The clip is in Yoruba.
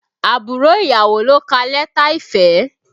Àbúrò ìyàwó ló ka lẹ́tà ìfẹ́